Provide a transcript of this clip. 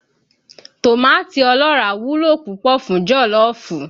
Tòmátì ọlọ́ràá wúlò púpọ̀ fún jọ̀lọ́ọ̀fù